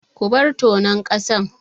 Ku bar tonon ƙasan!